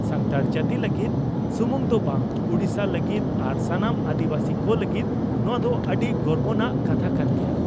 ᱥᱟᱱᱛᱟᱲ ᱡᱟᱹᱛᱤ ᱞᱟᱹᱜᱤᱫ ᱥᱩᱢᱩᱝ ᱫᱚ ᱵᱟᱝ ᱩᱰᱤᱥᱟ ᱞᱟᱹᱜᱤᱫ ᱟᱨ ᱥᱟᱱᱟᱢ ᱟᱹᱫᱤᱵᱟᱹᱥᱤ ᱠᱚ ᱞᱟᱹᱜᱤᱫ ᱱᱚᱣᱟ ᱫᱚ ᱟᱹᱰᱤ ᱜᱚᱨᱵᱟᱱᱟᱜ ᱠᱟᱛᱷᱟ ᱠᱟᱱ ᱜᱮᱭᱟ ᱾